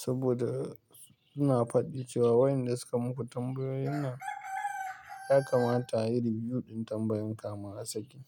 Saboda suna faɗi cewa wayanda suka muku tambayoyin nan ya kamata a yi riwiyu ɗin tambayan kafin a saki.